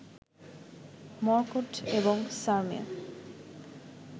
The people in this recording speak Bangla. মর্কট এবং সারমেয়